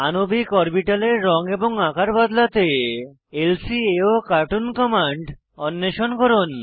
আণবিক অরবিটালের রঙ এবং আকার বদলাতে ল্কাওকার্টুন কমান্ড অন্বেষণ করুন